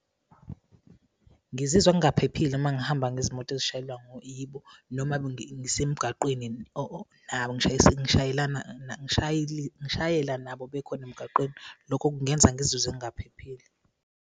Ngizizwa ngingaphephile uma ngihamba ngezimoto ezishayelwa yibo, noma ngisemgwaqeni nabo ngishayela nabo bekhona emgwaqeni. Lokho kungenza ngizizwe ngingaphephile.